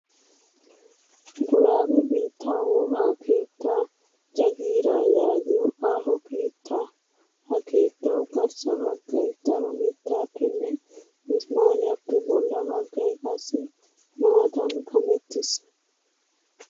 Guraage biittaa wogaa keettaa jagiiraa yaagiyoo aaho keettaa. Ha keettawu garssa baggayi daro mittaappenne mismaariyaappe bolla baggayi qassi maatan kamettis.